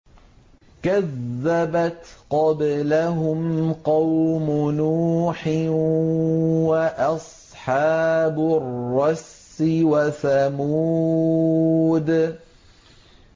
كَذَّبَتْ قَبْلَهُمْ قَوْمُ نُوحٍ وَأَصْحَابُ الرَّسِّ وَثَمُودُ